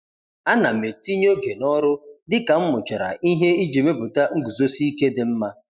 Ana m etinye oge n'ọrụ dị ka m mụchara ihe iji mepụta nguzosi ike dị mma.